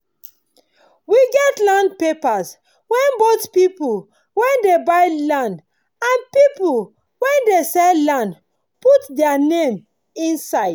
we get land papers wen both pipu wen dey buy land and pipu wen dey sell land put their name inside